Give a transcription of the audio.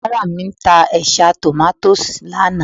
Oníbàárà mi ta ẹ̀ṣá tòmátósì lánàá